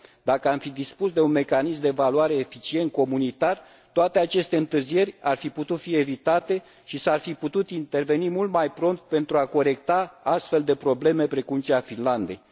Dacă am fi dispus de un mecanism de evaluare comunitar eficient, toate aceste întârzieri ar fi putut fi evitate și s ar fi putut interveni mult mai prompt pentru a corecta astfel de probleme, precum cea a Finlandei.